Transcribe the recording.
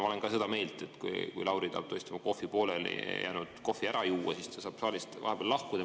Ma olen ka seda meelt, et kui Lauri tahab tõesti oma poolelijäänud kohvi ära juua, siis ta saab vahepeal saalist lahkuda.